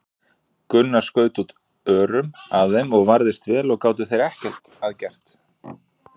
Gunnar skaut út örum að þeim og varðist vel og gátu þeir ekki að gert.